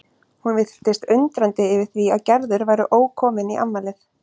Hún virtist undrandi yfir því að Gerður væri ókomin í afmælið.